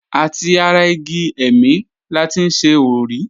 Àti ara igi ẹ̀mì la ti ń ṣe òrí.